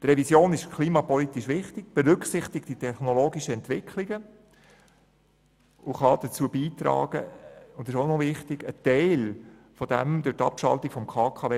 Die Revision ist klimapolitisch wichtig, sie berücksichtigt die technologischen Entwicklungen und kann dazu beitragen, einen Teil der durch die Abschaltung des Kernkraftwerks (KKW)